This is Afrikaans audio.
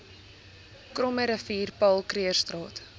krommerivier paul krugerstraat